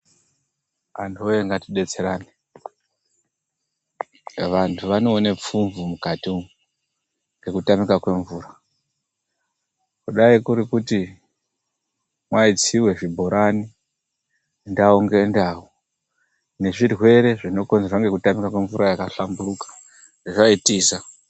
Antu woye ngatibetserane vantu anoona pfumvu mukati umu, ngekutamika kwemvura kudai kurikuti maisiwe zvibhorani ndau ngendau nezvirwere zvinokonzerwa ngekutamika kwemvura yakahlamburuka zvaitiza.